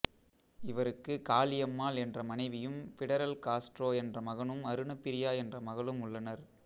இவருக்கு காளியம்மாள் என்ற மனைவியும் பிடரல் காஸ்ட்ரோ என்ற மகனும் அருணப்பிரியா என்ற மகளும் உள்ளனர்